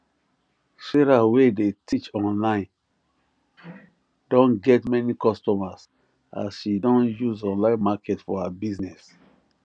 sarah wey dey teach online don get many customers as she don use online market her business